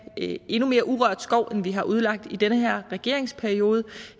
endnu mere urørt skov end vi har udlagt i den her regeringsperiode